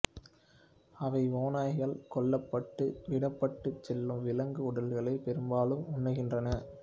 அவை ஓநாய்களால் கொல்லப்பட்டு விடப்பட்டுச் செல்லும் விலங்கு உடல்களை பெரும்பாலும் உண்ணுகின்றன